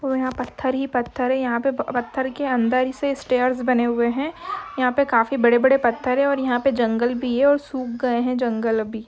और यहा पत्थर ही पत्थर हैं यहा पर पत्थर के अंदर इसे स्टेयर्स बने हुए हैं यहा पे काफी बड़े बड़े पत्थर है और यहा पे जंगल भी हैं और सुख गए हैं जंगल अभी।